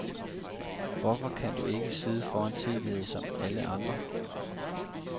Hvorfor kan du ikke sidde foran tv som alle andre.